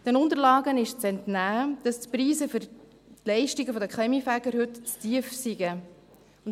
Den Unterlagen ist zu entnehmen, dass die Preise für die Leistungen der Kaminfeger heute zu tief seien.